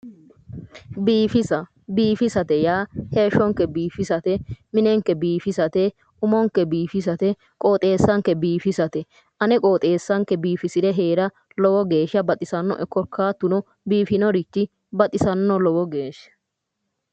Biifisa. biifisate yaa heeshshonke biifisate, minenke biifisate, umonke biifisate qooxeessanke biifisate ane qooxeessanke biifisire heera lowo geeshsha baxisannoe biifinorichi baxisanno lowo geeshsha,